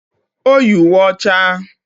O yi uwe ọcha